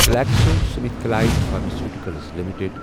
GlaxoSmithKline pharmaceuticals limited